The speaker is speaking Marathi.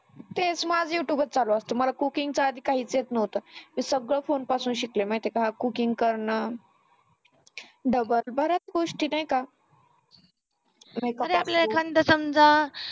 तेच माझ youtube चालु असत मला cooking चा आधी काहीच येत नव्हतं मी सगळ फोन पासून शिकले माहिती आहे का cooking करण बऱ्याच गोष्टी नाही का आणि आपल्याला एखांद समजा